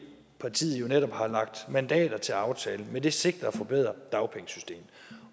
partiet jo netop har lagt mandater til aftalen med det sigte at forbedre dagpengesystemet